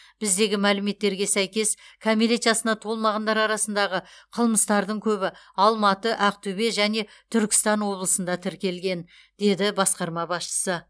біздегі мәліметтерге сәйкес кәмелет жасына толмағандар арасындағы қылмыстардың көбі алматы ақтөбе және түркістан облысында тіркелген деді басқарма басшысы